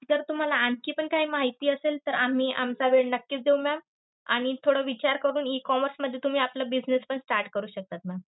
जर तुम्हाला आणखी पण काही माहिती असेल तर आम्ही आमचा वेळ नक्कीच देऊ ma'am. आणि थोडा विचार करून E commerce मध्ये तुम्ही आपला business पण start करू शकतात ma'am.